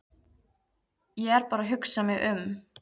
Ég er bara að hugsa mig um.